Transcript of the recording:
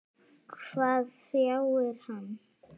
Hvað hrjáir hann?